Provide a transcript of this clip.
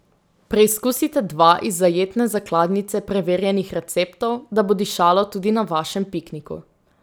Preizkusite dva iz zajetne zakladnice preverjenih receptov, da bo dišalo tudi na vašem pikniku.